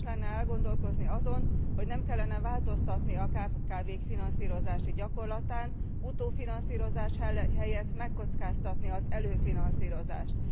Érdemes lenne elgondolkodni azon, hogy nem kellene e változtatni a kkv k finanszírozási gyakorlatán utófinanszírozás helyett megkockáztatni az előfinanszírozást.